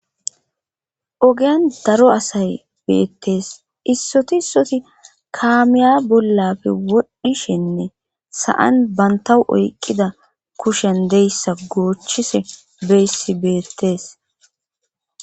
ogiyan daro asay beettees issoti isoti kaamiya bollapfe wodhdhishenne sa7an banta oyqqida kushen deyssa goochchise beyssi beettees